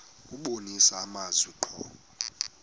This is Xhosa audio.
kubonisa amazwi ngqo